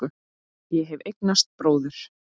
Ég hef eignast bróður.